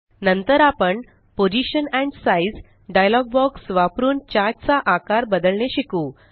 नंतर आपण position and size dialog box वापरुन चार्ट चा आकार बदलणे शिकू